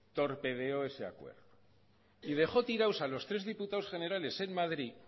torpedeó ese acuerdo y dejó tirado a los tres diputados generales en madrid